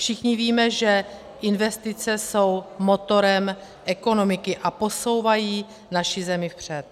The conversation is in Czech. Všichni víme, že investice jsou motorem ekonomiky a posouvají naši zemi vpřed.